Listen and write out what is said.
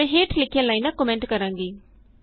ਮੈਂ ਹੇਠ ਲਿਖੀਆਂ ਲਾਈਨਾਂ ਕੋਮੈਂਟ ਕਰਾਂਗੀ